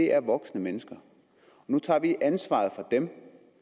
er voksne mennesker nu tager vi ansvaret fra dem og